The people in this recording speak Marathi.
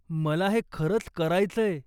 मला हे खरंच करायचंय.